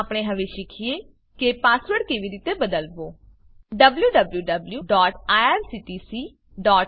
આપણે હવે શીખીએ કે પાસવર્ડ કેવી રીતે બદલવો